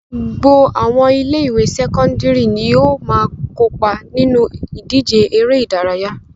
Gbogbo àwọn ilé-ìwé sẹ́kọ́ndárì ni ó máa ń kópa nínú ìdíje eré-idárayá.